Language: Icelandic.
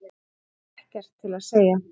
Það er ekkert til að segja.